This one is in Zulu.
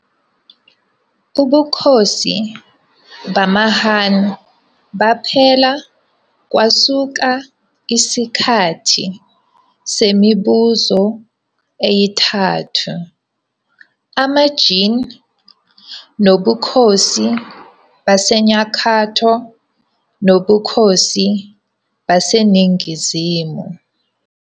Ubukhosi bamaHan baphela kwasuka isikhathi semiBuso eyiNtathu- amaJin, nobukhosi baseNyakatho nobukhosi baseNingizimu.